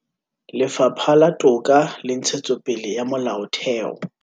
Lefapha la Toka le Ntshetsopele ya Molaotheo